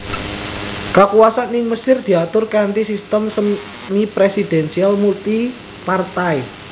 Kakuwasan ing Mesir diatur kanthi sistem semipresidensial multipartai